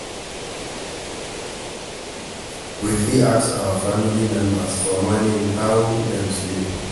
We fit ask our family members for morning how dem sleep